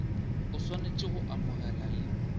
o swanetše go amogela le